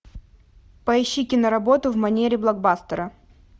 поищи киноработу в манере блокбастера